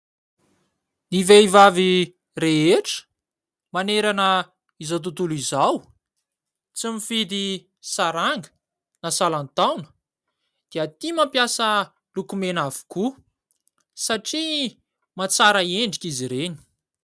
Ny vehivavy rehetra, manerana izao tontolo izao, tsy mifidy saranga na salan-taona dia tia mampiasa lokomena avokoa, satria mahatsara endrika izy ireny.